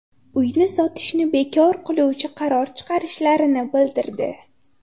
Uyni sotishni bekor qiluvchi qaror chiqarishlarini bildirdi.